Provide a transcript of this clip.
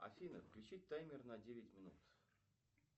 афина включи таймер на девять минут